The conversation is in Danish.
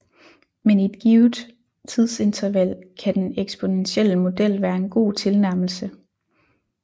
Men i et givet tidsinterval kan den eksponentielle model være en god tilnærmelse